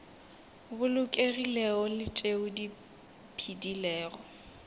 bolokegilego le tšeo di phedilego